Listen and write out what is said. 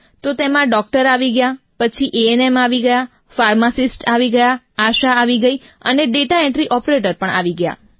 તો તેમાં ડૉક્ટર આવી ગયા પછી એએનએમ આવી ગયા ફાર્માસિસ્ટ આવી ગયા આશા આવી ગઈ અને ડેટા એન્ટ્રી ઑપરેટર આવી ગયા